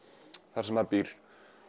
þar sem maður býr